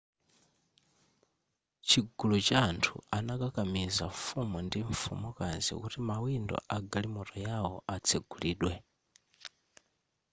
chigulu cha anthu anakakamiza mfumu ndi mfumukazi kuti mawindo a galimoto yawo atsegulidwe